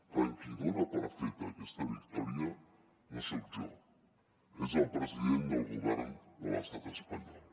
per tant qui dona per feta aquesta victòria no soc jo és el president del govern de l’estat espanyol